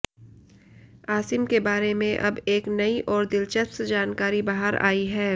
आसिम के बारे में अब एक नई और दिलचस्प जानकारी बाहर आयी है